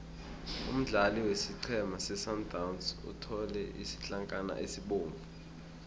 umdlali wesiqhema sesundowns uthole isitlankana esibovu